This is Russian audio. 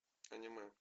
аниме